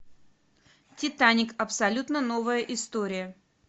титаник абсолютно новая история